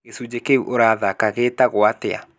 Gĩcunjĩ kĩu ũrathaaka gĩetagwo atĩa?